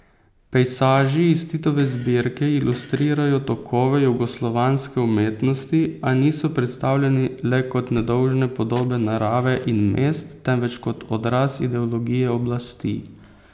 Pejsaži iz Titove zbirke ilustrirajo tokove jugoslovanske umetnosti, a niso predstavljeni le kot nedolžne podobe narave in mest, temveč kot odraz ideologije oblasti.